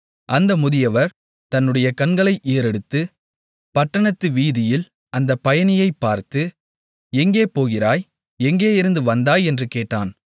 அந்த முதியவர் தன்னுடைய கண்களை ஏறெடுத்துப் பட்டணத்து வீதியில் அந்த பயணியைப் பார்த்து எங்கே போகிறாய் எங்கேயிருந்து வந்தாய் என்று கேட்டான்